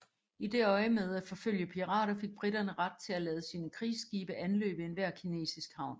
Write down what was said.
I det øjemed at forfølge pirater fik briterne ret til at lade sine krigsskibe anløbe enhver kinesisk havn